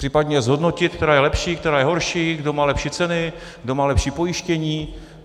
Případně zhodnotit, která je lepší, která je horší, kdo má lepší ceny, kdo má lepší pojištění.